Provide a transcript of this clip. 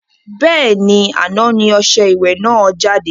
Bẹ́ẹ̀ni, àná ni ọṣẹ ìwẹ̀ náà jáde